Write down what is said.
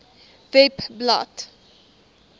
webblad